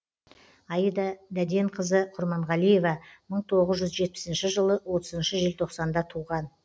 аида дәденқызы құрманғалиева мың тоғыз жүз жетпісінші жылы отызыншы желтоқсанда туған